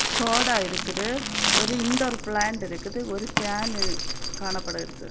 Soda இருக்குது ஒரு indoor plant இருக்குது ஒரு ஃபேன் காணப்படுகிறது.